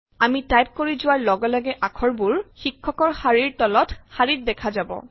আমি টাইপ কৰি যোৱাৰ লগে লগে আখৰবোৰ শিক্ষকৰ শাৰীৰ তলৰ শাৰীত দেখা যাব